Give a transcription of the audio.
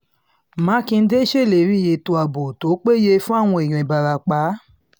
mákindé ṣèlérí ètò ààbò tó péye fáwọn èèyàn ìbarapá